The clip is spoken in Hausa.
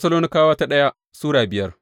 daya Tessalonikawa Sura biyar